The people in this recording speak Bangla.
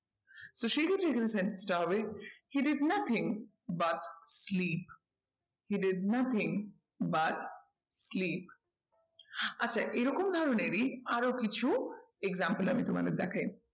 তো সেই ক্ষেত্রে এখানে sentence টা হবে he did nothing but sleep, he did nothing but sleep আচ্ছা এরকম ধরনেরই আরো কিছু example আমি তোমাদের দেখাই।